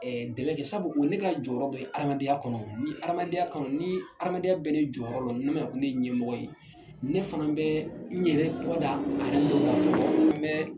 Ɛɛ dɛmɛ kɛ sabu ne ka jɔ yɔrɔ bɛ adamadenya kɔnɔ ni adamadenya ni adamadenya bɛɛ ni a jɔyɔrɔ don n'u be na ko ne ye ɲɛmɔgɔ ye ne fana bɛ n yɛrɛ kɔ da ka sɔrɔ an bɛ.